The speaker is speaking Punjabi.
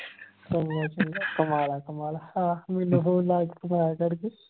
ਘੁਮਾ ਲੈ ਘੁਮਾ ਲੈ ਹਾਂ ਮੈਨੂੰ phone ਲਾ ਕੇ ਤਾਂ ਕਰਕੇ